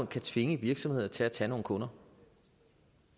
kan tvinge virksomheder til at tage nogle kunder